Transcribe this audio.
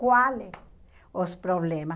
Quais os problemas?